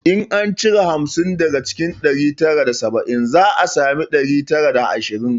In an cire hamsin daga ɗari tara da saba'in za a sami ɗari tara da ashirin